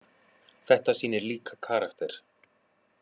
Þetta sýnir líka karakter.